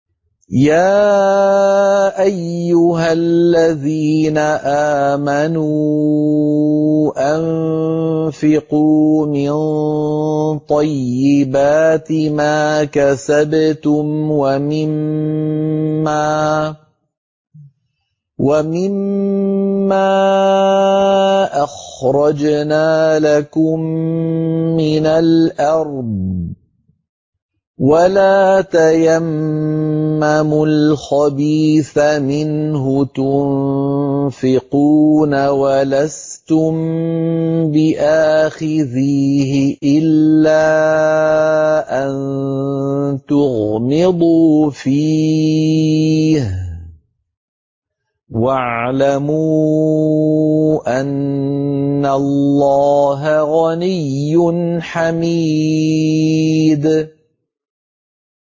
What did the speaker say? يَا أَيُّهَا الَّذِينَ آمَنُوا أَنفِقُوا مِن طَيِّبَاتِ مَا كَسَبْتُمْ وَمِمَّا أَخْرَجْنَا لَكُم مِّنَ الْأَرْضِ ۖ وَلَا تَيَمَّمُوا الْخَبِيثَ مِنْهُ تُنفِقُونَ وَلَسْتُم بِآخِذِيهِ إِلَّا أَن تُغْمِضُوا فِيهِ ۚ وَاعْلَمُوا أَنَّ اللَّهَ غَنِيٌّ حَمِيدٌ